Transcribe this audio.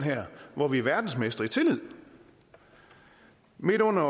hvor vi er verdensmestre i tillid midt under